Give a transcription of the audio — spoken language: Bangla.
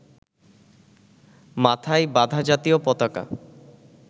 মাথায় বাঁধা জাতীয় পতাকা